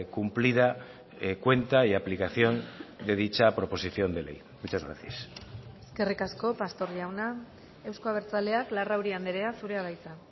cumplida cuenta y aplicación de dicha proposición de ley muchas gracias eskerrik asko pastor jauna euzko abertzaleak larrauri andrea zurea da hitza